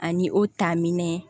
Ani o ta minɛn